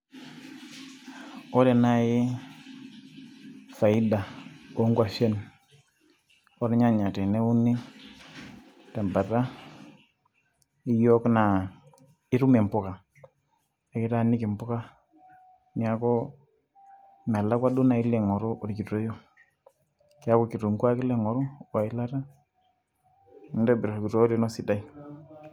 ore naaji faida oongwashen oornyanya teneuni tebata eyiok ,naa itum impuka ekitaniki impuka neeku melakua duo naaji, kekukitunguu ake ilo aing'oru we ilata nintobir orkitowoyo lino esidai.